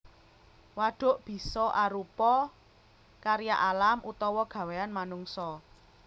Wadhuk bisa arupa karya alam utawa gawéyan manungsa